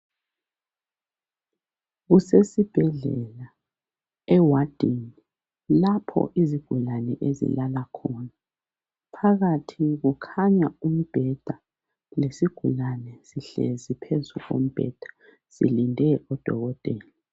Kusesi bhedlela ewadini lapho izigulane ezilala khona phakathi kukhanya umbheda lesigulane sihlezi phezu kombheda silinde udokotela.